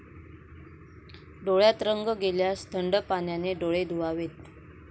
डोळ्यात रंग गेल्यास थंड पाण्याने डोळे धुवावेत.